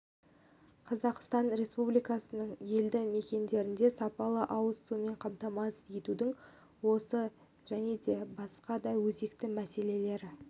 қазақстан республикасының елді мекендерін сапалы ауыз сумен қамтамасыз етудің осы және басқа да өзекті мәселелері